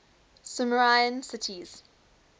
sumerian cities